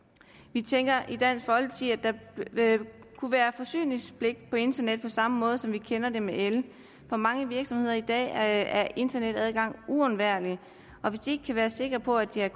vi tænker i dansk folkeparti at der kunne være forsyningspligt på internet på samme måde som vi kender det med el for mange virksomheder i dag er internetadgang uundværligt og hvis de ikke kan være sikre på at de har